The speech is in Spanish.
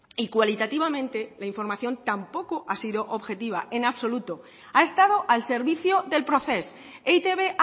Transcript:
y cualitativamente la información tampoco ha sido objetiva en absoluto ha estado al servicio del procés e i te be